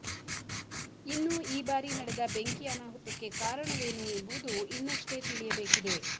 ಇನ್ನು ಈ ಬಾರಿ ನಡೆದ ಬೆಂಕಿ ಅನಾಹುತಕ್ಕೆ ಕಾರಣವೇನು ಎಂಬುವುದು ಇನ್ನಷ್ಟೇ ತಿಳಿಯಬೇಕಿದೆ